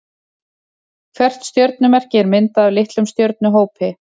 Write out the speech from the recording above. Hvert stjörnumerki er myndað af litlum stjörnuhópi.